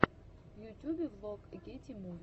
в ютюбе влог гети муви